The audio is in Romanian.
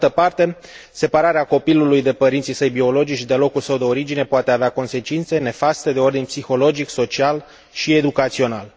Pe de altă parte, separarea copilului de părinții săi biologici, de locul său de origine, poate avea consecințe nefaste de ordin psihologic, social și educațional.